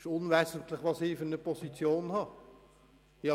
Es ist unwesentlich, welche Position ich einnehme.